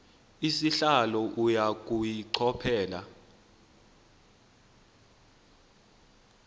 sihlalo uya kuyichophela